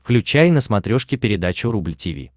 включай на смотрешке передачу рубль ти ви